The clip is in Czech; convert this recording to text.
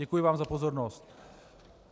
Děkuji vám za pozornost.